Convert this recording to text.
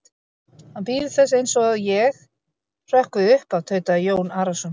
Hann bíður þess eins að ég hrökkvi upp af, tautaði Jón Arason.